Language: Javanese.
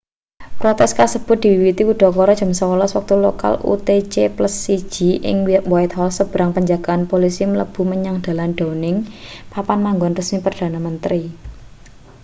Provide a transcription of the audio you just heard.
protes kasebut diwiwiti udakara jam 11.00 wektu lokal utc+1 ing whitehall sebrang penjagaan polisi mlebu menyang dalan downing papan manggon resmi perdana menteri